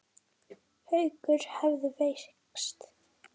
Haukur hefðu veikst.